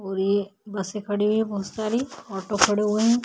और ये बसे खड़ी हुई है बोहोत सारी ऑटो खड़े हुए हैं।